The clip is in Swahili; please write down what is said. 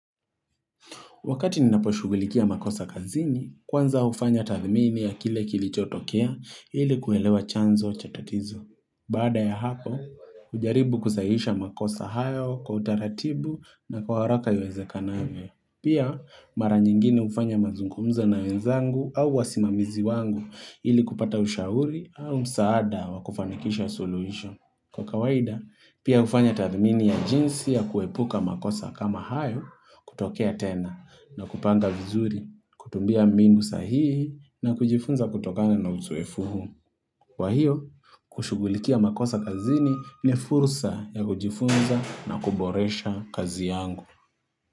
Wakati ninaposhugulikia makosa kazini, kwanza hufanya tathmini ya kile kilichotokea ili kuelewa chanzo cha tatizo. Baada ya hapo, hujaribu kusahihisha makosa hayo kwa utaratibu na kwa haraka iwezekanavyo. Pia, mara nyingine hufanya mazungumza na wenzangu au wasimamizi wangu ili kupata ushauri au msaada wa kufanikisha suluhisho. Kwa kawaida, pia hufanya tathmini ya jinsi ya kuepuka makosa kama hayo kutokea tena. Na kupanga vizuri, kutumbia mindu sahihi na kujifunza kutokana na uzoefu huo. Kwa hiyo, kushugulikia makosa kazini ne fursa ya kujifunza na kuboresha kazi yangu.